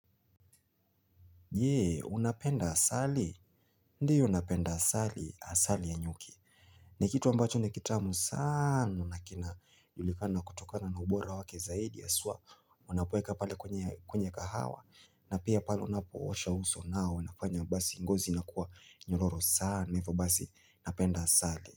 Je, unapenda asali. Ndiyo napenda asali, asali ya nyuki. Nikitu ambacho nikitamu sana naki na julikana kutokana na ubora wake zaidi ya haswa, unapoweka pale kwenye kahawa. Na pia pale unapo osha uso nao, unafanya basi ngozi inakuwa nyororo sana. Hivyo basi, napenda asali.